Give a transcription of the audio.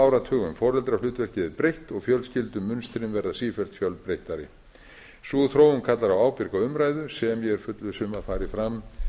áratugum foreldrahlutverkið er breytt og fjölskyldumynstrin verða sífellt fjölbreyttari sú þróun kallar á ábyrga umræðu sem ég er fullviss um að fari fram